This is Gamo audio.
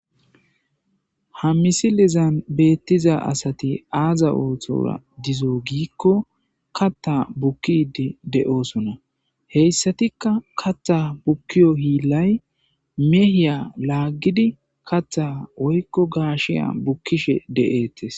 Ha misilizan beettiza asati aaza oothora dizo giikko katta bukkidi de7osona heyssatikka katha bukkiyo hiilay mehiya laaggidi katha woykko gaashiya bukkishe de7ettes.